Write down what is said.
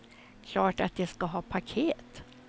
Klart att de ska ha paket.